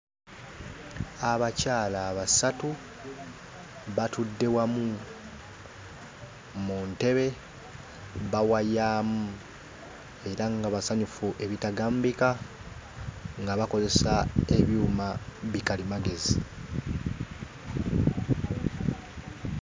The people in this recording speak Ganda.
Abakyala basatu batudde wamu mu ntebe bawayaamu era nga basanyufu ebitagambika nga bakozesa ebyuma bikalimagezi.